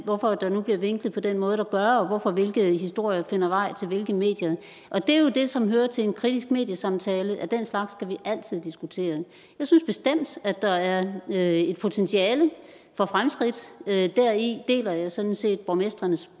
hvorfor der nu bliver vinklet på den måde der gør og hvorfor hvilke historier finder vej til hvilke medier og det er jo det som hører til en kritisk mediesamtale nemlig at den slags skal vi altid diskutere jeg synes bestemt at der er er et potentiale for fremskridt deri deler jeg sådan set borgmestrenes